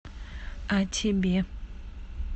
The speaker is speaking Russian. а тебе